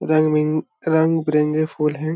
रंग बिंग रंग बिरंगे फूल है।